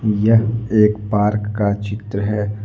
यह एक पार्क का चित्र है।